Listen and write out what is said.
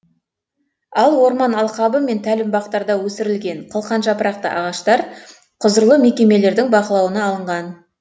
ал орман алқабы мен тәлімбақтарда өсірілген қылқан жапырақты ағаштар құзырлы мекемелердің бақылауына алынған